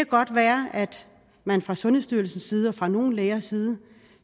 godt være at man fra sundhedsstyrelsens side og fra nogle lægers side